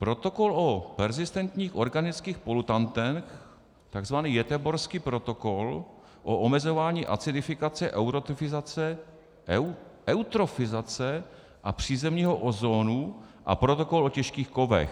"Protokol o perzistentních organických polutantech, takzvaný Göteborský protokol o omezování acidifikace, eutrofizace a přízemního ozónu a Protokol o těžkých kovech."